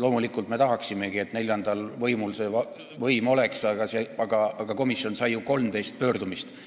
Loomulikult me tahamegi, et neljandal võimul oleks selline võim, aga komisjon sai ju 13 pöördumist –